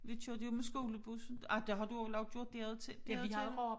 Vi kørte jo med skolebussen ej det har du vel også gjort der ud der ud til